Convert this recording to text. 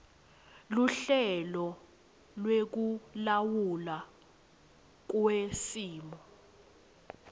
luhlelo lwekulawulwa kwesimo